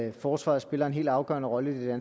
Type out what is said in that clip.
at forsvaret spiller en helt afgørende rolle i